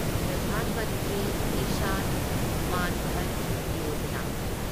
Pradhan Mantri Kisan Maan Dhan Yojana